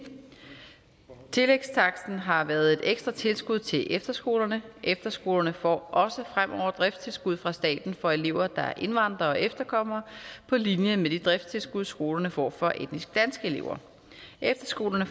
tillægstaksten har været et ekstra tilskud til efterskolerne efterskolerne får også fremover driftstilskud fra staten for elever der er indvandrere og efterkommere på linje med det driftstilskud skolerne får for etnisk danske elever efterskolerne